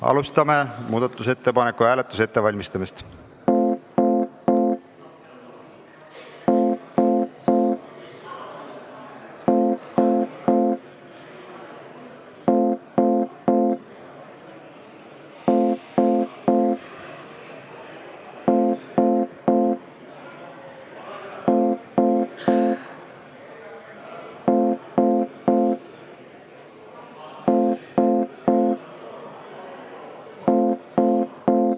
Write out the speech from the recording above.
Alustame muudatusettepaneku hääletuse ettevalmistamist.